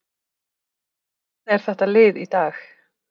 Hvernig er þetta lið í dag?